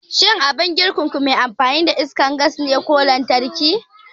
Shin abin girkinku me amfani da iskar gas ne ko me amfani da lantarki?